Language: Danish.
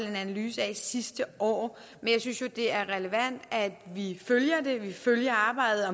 en analyse af sidste år men jeg synes jo det er relevant at vi følger det at vi følger arbejdet